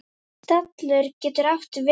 Stallur getur átt við